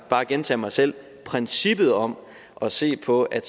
bare gentage mig selv princippet om at se på at